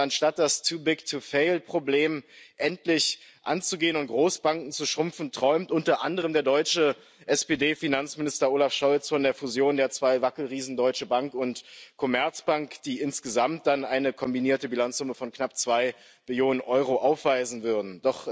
Und anstatt das Too big to fail Problem endlich anzugehen und Großbanken zu schrumpfen, träumt unter anderem der deutsche SPD Finanzminister Olaf Scholz von der Fusion der zwei Wackelriesen Deutsche Bank und Commerzbank, die insgesamt dann eine kombinierte Bilanzsumme von knapp zwei Billionen Euro aufweisen würden.